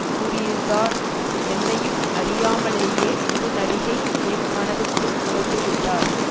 கூறியிருந்தார் என்னையும் அறியாமலேயே ஒரு நடிகை என் மனதுக்குள் நுழைந்துவிட்டார்